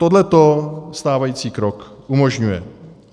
Tohle stávající krok umožňuje.